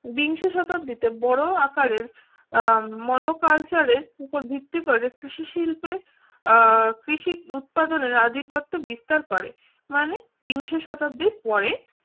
বিংশ শতাব্দীতে বড় আকারের মনো কালচারের উপর ভিত্তি করে কৃষি শিল্পে কৃষি উৎপাদনের আধিপত্য বিস্তার করে মানে তিনশো শতাব্দীর পরে